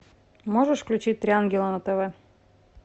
можешь включить три ангела на тв